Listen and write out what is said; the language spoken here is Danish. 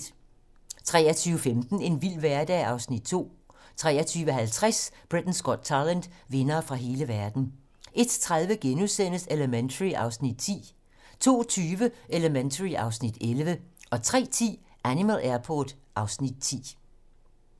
23:15: En vild hverdag (Afs. 2) 23:50: Britain's Got Talent - vindere fra hele verden 01:30: Elementary (Afs. 10)* 02:20: Elementary (Afs. 11) 03:10: Animal Airport (Afs. 10)